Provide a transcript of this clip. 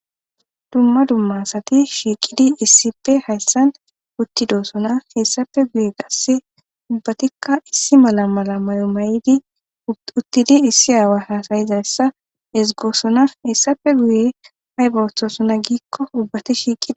dumma dumma sati shiiqidi issippe hayssan uttidoosona hessape guye qasse ubbatikka issi mala mala may7o mayidi uttidi issi aawa hasayizayssa hesigoosonas hessape guye hay bowoththosona giikko ubbati shiiqidi